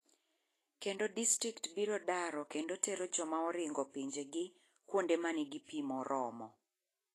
Kendo distrikt biro daro kendo tero joma oringo pinje gi kuonde man gi pii morormo.